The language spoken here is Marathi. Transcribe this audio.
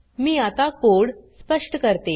मी आता कोड स्पष्ट करते